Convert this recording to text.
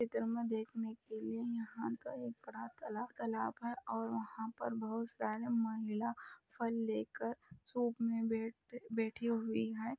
इधर में देखने के लिए यहां तालाब है और वहां पर बहुत सारी महिलाए फल लेकर शॉप में बैठी हुईं हैं।